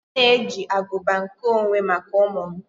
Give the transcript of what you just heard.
M na-eji aguba nkeonwe maka ụmụ m